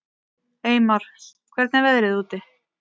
Eymar, hvernig er veðrið úti?